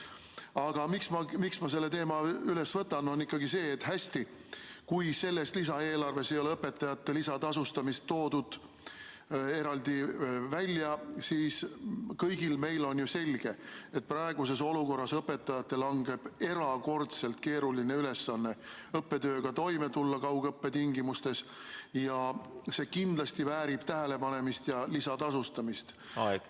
Aga põhjus, miks ma selle teema üles võtan, on ikkagi see, et selles lisaeelarves ei ole õpetajate lisatasustamist eraldi välja toodud, on kõigile meile ju selge, et praeguses olukorras langeb õpetajatele erakordselt keeruline ülesanne kaugõppe tingimustes õppetööga toime tulla ning see kindlasti väärib tähelepanemist ja lisatasustamist.